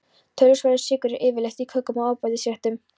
Töluverður sykur er yfirleitt í kökum og ábætisréttum.